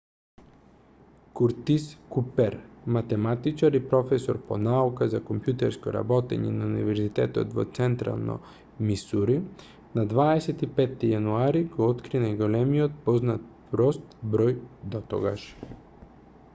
куртис купер математичар и професор по науки за компјутерско работење на универзитетот во централно мисури на 25 јануари го откри најголемиот познат прост број дотогаш